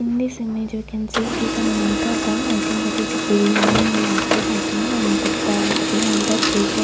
in this image we can see it is a matatam I think it is a biryani market I think and the behind that baker --